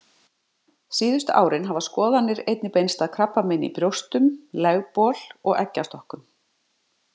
Síðustu árin hafa skoðanir einnig beinst að krabbameini í brjóstum, legbol og eggjastokkum.